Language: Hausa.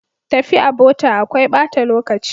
Tafi a bota akwai bata lokaci.